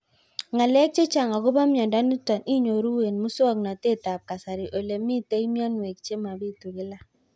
Ng'alek chechang' akopo miondo nitok inyoru eng' muswog'natet ab kasari ole mito mianwek che mapitu kila